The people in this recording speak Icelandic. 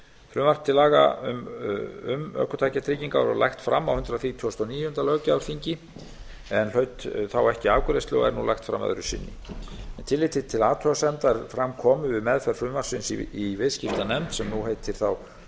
frumvarp til laga um ökutækjatryggingar var lagt fram á hundrað þrítugasta og níunda löggjafarþingi en hlaut þá ekki afgreiðslu og er nú lagt fram öðru sinni með tilliti til athugasemda er fram komu við meðferð frumvarpsins í viðskiptanefnd sem nú heitir